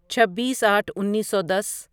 چھبیس آٹھ انیسو دس